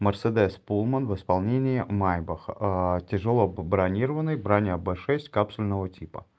мерседес пулман в исполнении майбах тяжело бронированный броня б шесть капсульного типа